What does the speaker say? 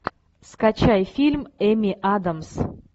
скачай фильм эми адамс